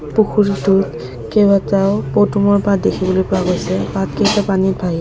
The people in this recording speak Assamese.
পুখুৰীটোত কেবাটাও পদুমৰ পাত দেখিবলৈ পোৱা গৈছে পাতকেইটা পানীত ভাহি --